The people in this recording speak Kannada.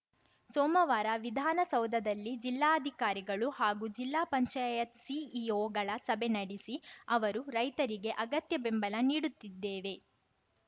ಸೋಮವಾರ ವಿಧಾನಸೌಧದಲ್ಲಿ ಜಿಲ್ಲಾಧಿಕಾರಿಗಳು ಹಾಗೂ ಜಿಲ್ಲಾ ಪಂಚಾಯತ್‌ ಸಿಇಒಗಳ ಸಭೆ ನಡೆಸಿ ಅವರು ರೈತರಿಗೆ ಅಗತ್ಯ ಬೆಂಬಲ ನೀಡುತ್ತಿದ್ದೇವೆ